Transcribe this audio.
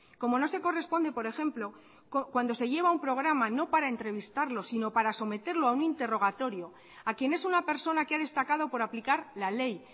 como no se corresponde por ejemplo cuando se lleva a una programa no para entrevistarlos sino para someterlo a un interrogatorio a quien es una persona que ha destacado por aplicar la ley